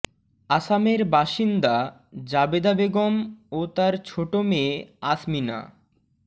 আসামের বাসিন্দা জাবেদা বেগম ও তার ছোট মেয়ে আসমিনা